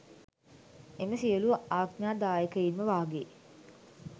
එම සියළු අඥාදායකයින්ම වාගේ